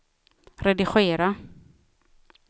redigera